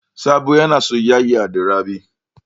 Sabo yana soyaya da Rabi.